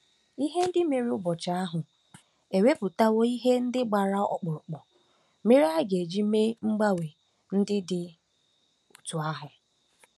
Ihe ndị mere n'ụbọchị ahụ ewepụtawo ihe ndị gbara ọkpụrụkpụ mere a ga-eji mee mgbanwe ndị dị otú ahụ.